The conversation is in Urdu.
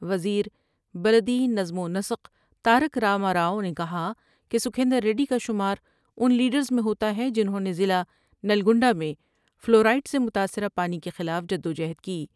وزیر بلدی نظم ونسق تارک راما راؤ نے کہا کہ سکھیندر ریڈی کا شماران لیڈرس میں ہوتا ہے جنھوں نے ضلع نلگنڈہ میں فلورائڈ سے متاثرہ پانی کے خلاف جد و جہد کی ۔